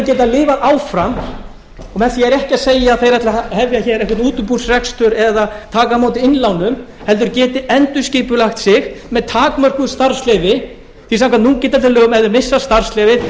og með því er ég ekki að segja að þeir ætli að hefja hér einhvern útibúsrekstur eða taka á móti innlánum heldur geti endurskipulagt sig með takmörkuðu starfsleyfi því samkvæmt núgildandi lögum ef þeir missa starfsleyfið